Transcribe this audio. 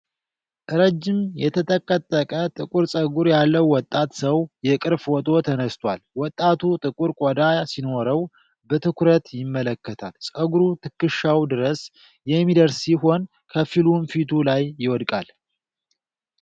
ረጅም የተጠቀጠቀ ጥቁር ፀጉር ያለው ወጣት ሰው የቅርብ ፎቶ ተነስቷል። ወጣቱ ጥቁር ቆዳ ሲኖረው፣ በትኩረት ይመለከታል። ፀጉሩ ትከሻው ድረስ የሚደርስ ሲሆን ከፊሉም ፊቱ ላይ ይወድቃል።